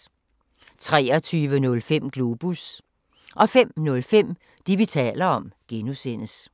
23:05: Globus 05:05: Det, vi taler om (G)